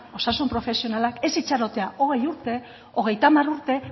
osasun profesionalak ez itxarotea hogei hogeita hamar urte